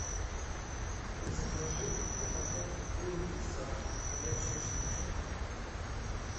закажи упаковку круггетсов горячая штучка